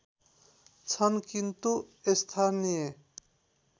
छन् किन्तु स्थानीय